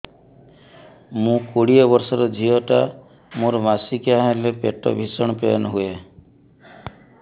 ମୁ କୋଡ଼ିଏ ବର୍ଷର ଝିଅ ଟା ମୋର ମାସିକିଆ ହେଲେ ପେଟ ଭୀଷଣ ପେନ ହୁଏ